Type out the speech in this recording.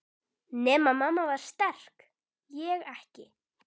Nema mamma var sterk, ég ekki.